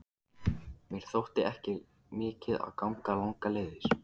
Mér þótti ekki mikið að ganga langar leiðir.